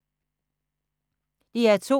DR2